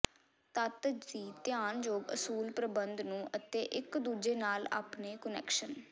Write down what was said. ਤੱਤ ਦੀ ਧਿਆਨਯੋਗ ਅਸੂਲ ਪ੍ਰਬੰਧ ਨੂੰ ਅਤੇ ਇੱਕ ਦੂਜੇ ਨਾਲ ਆਪਣੇ ਕੁਨੈਕਸ਼ਨ